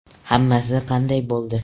Hammasi qanday bo‘ldi?